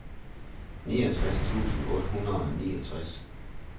niogtres tusind otte hundrede og niogtres